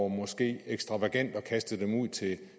måske ekstravagant at kaste dem ud til